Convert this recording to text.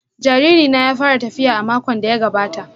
Jariri na ya fara tafiya a makon da ya gabata